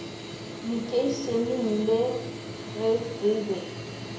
lekeišeneng le ge re be